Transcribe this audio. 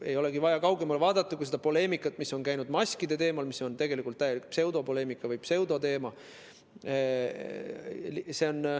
Ei olegi vaja muud vaadata kui seda poleemikat, mis on käinud maskide teemal, mis on tegelikult täielik pseudopoleemika või pseudoteema.